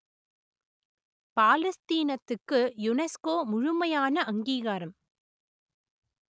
பாலஸ்தீனத்துக்கு UNESCO முழுமையான அங்கீகாரம்